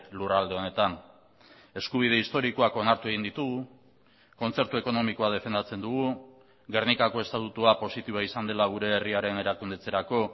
lurralde honetan eskubide historikoak onartu egin ditugu kontzertu ekonomikoa defendatzen dugu gernikako estatutua positiboa izan dela gure herriaren erakundetzerako